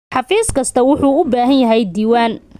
Xafiis kastaa wuxuu u baahan yahay diiwaan.